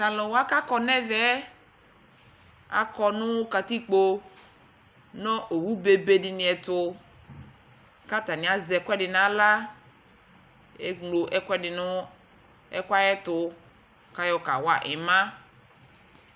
talʋ wa kʋ akɔ nʋ ɛvɛ, akɔnʋ katikpɔ nʋ ɔwʋ bɛbɛ dini ɛtʋ kʋ atani. azɛ ɛkʋɛdi nʋ ala, ɛmlɔ ɛkʋɛdi nʋ ɛkʋɛ ayɛtʋ kʋ ayɔ kawa ima.